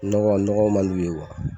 Nɔgɔ nɔgɔ man d'u ye